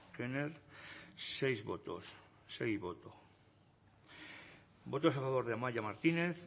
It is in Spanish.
knorr seis votos sei boto votos a favor de amaia martinez